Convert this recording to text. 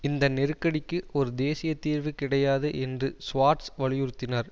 இந்த நெருக்கடிக்கு ஒரு தேசிய தீர்வு கிடையாது என்று சுவார்ட்ஸ் வலியுறுத்தினார்